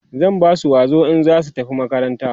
zan Basu wazo in zasu tafi makaranta